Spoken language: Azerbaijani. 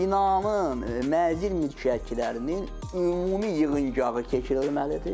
Binanın mənzil mülkiyyətçilərinin ümumi yığıncağı keçirilməlidir.